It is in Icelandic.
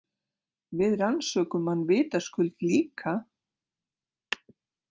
Við rannsökum hann vitaskuld líka.